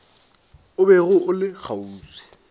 o bego o le kgauswi